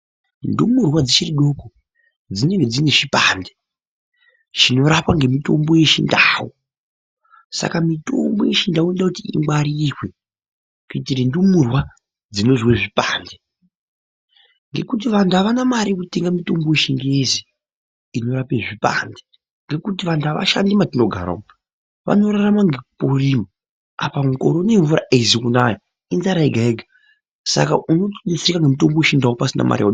Ndumurwa dzichiri doko, dzinenge dzine zvipande zvinorapwa ngemitombo yechindau. Saka mitombo yechindau inoda kuti ingwarirwe kuitira ndumurwa dzinozwa zvipande, ngekuti vanthu avana mare yekutenga mutombo wechingezi inorapa zvipande, ngekuti vanhu avashandi matinogara umo vanorarama ngekurima apa mukore unou mvura aizi kunaya inzara yega yega, saka unotouisa mutombo wechindau pasina mare yaunenge uchiona.